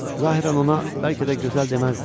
Zahirən ona bəlkə də gözəl deməzdin.